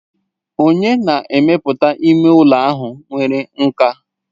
Onye na-emepụta ime ụlọ ahụ nwere nkà.